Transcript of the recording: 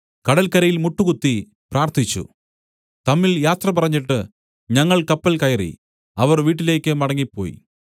കടൽക്കരയിൽ മുട്ടുകുത്തി പ്രാർത്ഥിച്ചു തമ്മിൽ യാത്ര പറഞ്ഞിട്ട് ഞങ്ങൾ കപ്പൽ കയറി അവർ വീട്ടിലേക്ക് മടങ്ങിപ്പോയി